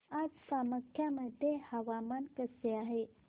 आज कामाख्या मध्ये हवामान कसे आहे